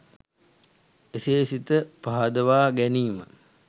එසේ සිත පහදවා ගැනීම